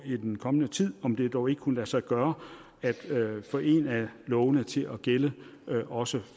i den kommende tid kigger om det dog ikke kunne lade sig gøre at få en af lovene til at gælde også